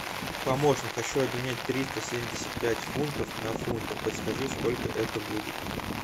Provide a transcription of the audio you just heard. помощник хочу обменять триста семьдесят пять фунтов на фунты подскажи сколько это будет